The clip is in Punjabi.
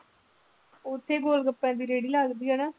ਉੱਥੇ ਗੋਲਗੱਪਿਆਂ ਦੀ ਰੇੜੀ ਲੱਗਦੀ ਆ ਨਾ।